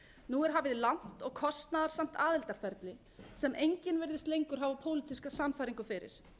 nú er hafið langt og kostnaðarsamt aðildarferli sem enginn virðist lengur hafa pólitíska sannfæringu fyrir